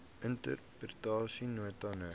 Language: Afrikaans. interpretation note no